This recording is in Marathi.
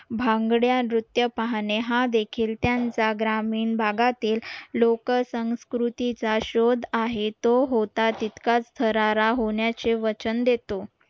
भागड्या नृत्य पाहणे हा देखील त्यांचा ग्रामीण भागातील लोक संस्कृतीचा शोध आहे तो होता तितकाच थरारा होण्याचे वचन देतो